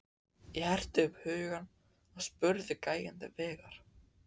Ég herti upp hugann og spurði gæjann til vegar.